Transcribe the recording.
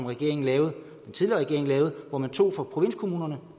regering lavede hvor man tog fra provinskommunerne